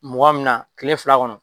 Mɔgan min na kile fila kɔnɔ.